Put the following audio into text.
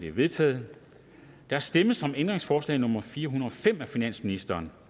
er vedtaget der stemmes om ændringsforslag nummer fire hundrede og fem af finansministeren